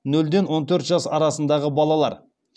нөлден он төрт жас арасындағы балалар